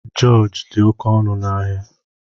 Jorji dị oké ọnụ na áhiá